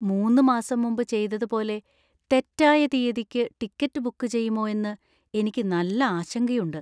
മൂന്ന് മാസം മുമ്പ് ചെയ്തതുപോലെ തെറ്റായ തീയതിക്ക് ടിക്കറ്റ് ബുക്ക് ചെയ്യുമോ എന്ന് എനിക്ക് നല്ല ആശങ്കയുണ്ട്.